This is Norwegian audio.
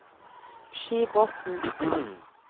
Skibotn